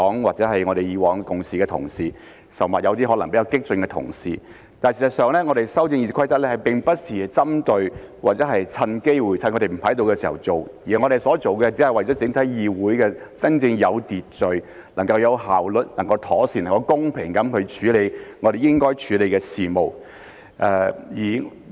或者是以往共事的同事，甚或有些可能是比較激進的同事，但事實上，我們修訂《議事規則》並不是針對或趁機會、趁他們不在的時候去做，我們所做的只是為了整個議會能夠真正有秩序、能夠有效率、能夠妥善、能夠公平地處理我們應該處理的事務。